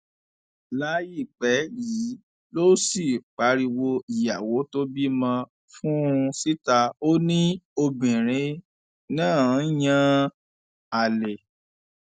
láìpẹ yìí ló sì pariwo ìyàwó tó bímọ fún un síta ó ní obìnrin náà ń yan àlè